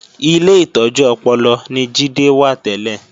Ilé ìtọ́jú ọpọlọ ni Jídé wà tẹ́lẹ̀